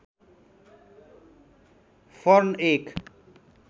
fern एक